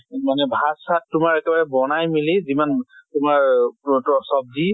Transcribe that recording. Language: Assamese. মানে ভাত চাত তোমাৰ একেবাৰে বনাই মেলি যিমান তোমাৰ চব্জি